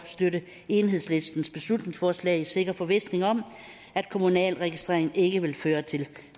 støtte enhedslistens beslutningsforslag i sikker forvisning om at kommunal registrering ikke vil føre til